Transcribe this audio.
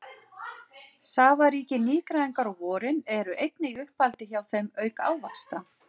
Safaríkir nýgræðingar á vorin eru einnig í uppáhaldi hjá þeim auk ávaxta.